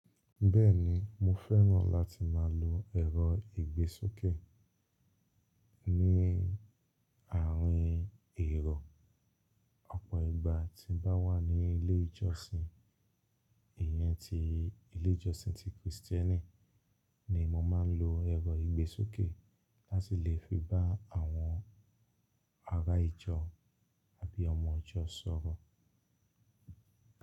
Bẹ́ẹ̀ni, mo fẹ́ràn láti máa lo ẹ̀rọ ìgbésókè ní àárín èrò. Ọ̀pọ̀ ìgbà tí n bá wà ní ilé ìjọsìn, ìyẹn ti ilé ìjọsìn ti Krìstẹ́nì ni mo máa ń lo ẹ̀rọ ìgbésókè láti lè fi bá àwọn ará ìjọ àbí ọmọ ìjọ sọ̀rọ̀.